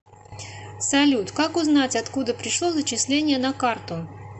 салют как узнать откуда пришло зачисление на карту